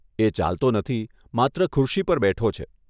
એ ચાલતો નથી, માત્ર ખુરશી પર બેઠો છે.